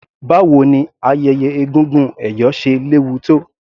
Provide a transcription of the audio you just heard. Báwo ni ayẹyẹ egúngún ẹ̀yọ̀ ṣe léwu tó.